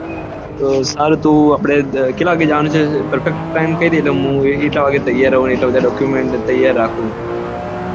સારું તો આપડે કેટલા વાગે જવાનું છે perfect time કઈ દે એટલે હું એ રીતે તૌયાર રહું અને document તૈયાર રાખું